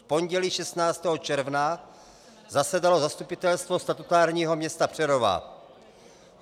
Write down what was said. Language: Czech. V pondělí 16. června zasedalo Zastupitelstvo statutárního města Přerova.